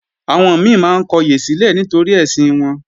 Àwọn mi máa ń kọyè sílẹ̀ nítorí ẹ̀sìn wọn